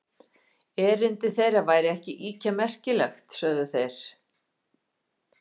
Erindi þeirra væri ekki ýkja merkilegt, sögðu þeir.